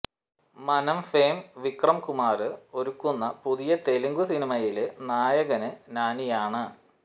മനം ഫെയിം വിക്രം കുമാര് ഒരുക്കുന്ന പുതിയ തെലുങ്ക് സിനിമയില് നായകന് നാനിയാണ്